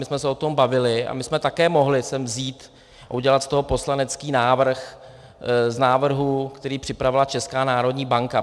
My jsme se o tom bavili a my jsme také mohli sem vzít a udělat z toho poslanecký návrh z návrhů, který připravila Česká národní banka.